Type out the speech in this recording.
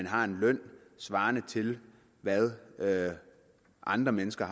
har en løn svarende til hvad andre mennesker